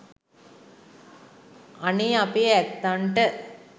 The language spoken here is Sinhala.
අනේ අපේ ඇත්තන්ට